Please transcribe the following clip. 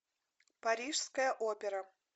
парижская опера